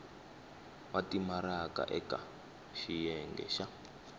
wa timaraka eka xiyenge xa